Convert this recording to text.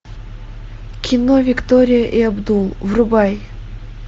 кино виктория и абдул врубай